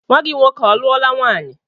Nnwa gị nwoke ọ lụọla nwaanyị?